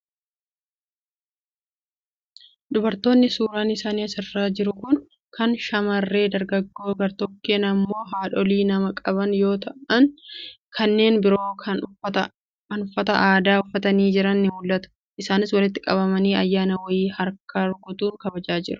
Dubartoonni suuraan isaanii asirra jiru kun kaan shammarree dargaggoo gartokkeen immoo haadholii mana qaban yoo ta'an, kanneen biroo kan uffata aadaa uffatanii jiran ni mul'atu. Isaanis walitti qabamanii ayyaana wayii harka rukutuun kabajataa jiru.